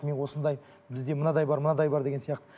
мен осындай бізде мынадай бар мынадай бар деген сияқты